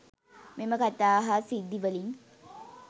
මෙම කතා හා සිද්ධි වලින්